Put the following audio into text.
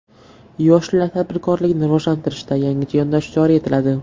Yoshlar tadbirkorligini rivojlantirishda yangicha yondashuv joriy etiladi.